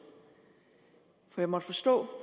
for jeg måtte forstå